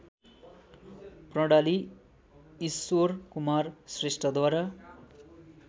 प्रणाली ईश्वरकुमार श्रेष्ठद्वारा